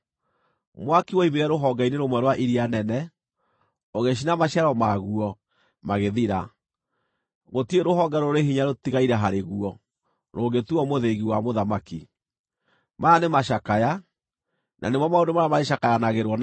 Mwaki woimire rũhonge-inĩ rũmwe rwa iria nene, ũgĩcina maciaro maguo, magĩthira. Gũtirĩ rũhonge rũrĩ hinya rũtigaire harĩ guo rũngĩtuuo mũthĩgi wa mũthamaki.’ Maya nĩ macakaya, na nĩmo maũndũ marĩa marĩcakayanagĩrwo namo.”